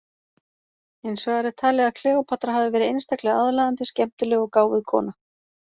Hins vegar er talið að Kleópatra hafi verið einstaklega aðlaðandi, skemmtileg og gáfuð kona.